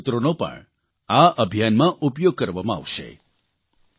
તમારા સારા સૂત્રો પણ આ અભિયાનમાં ઉપયોગ કરવામાં આવશે